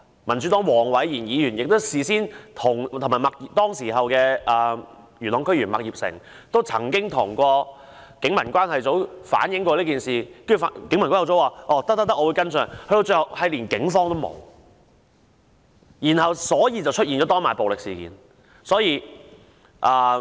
民主黨的黃偉賢議員及當時的元朗區議員麥業成事發前亦曾向警民關係組反映有此消息，警民關係組告知會作跟進，但警方最後並無出現，以致發生當晚的暴力事件。